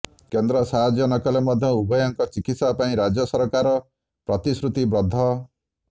କେନ୍ଦ୍ର ସାହାଯ୍ୟ ନକଲେ ମଧ୍ୟ ଉଭୟଙ୍କ ଚିକିତ୍ସା ପାଇଁ ରାଜ୍ୟ ସରକାର ପ୍ରତିଶ୍ରୁତିବଦ୍ଧ